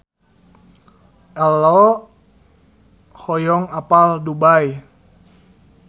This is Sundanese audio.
Ello hoyong apal Dubai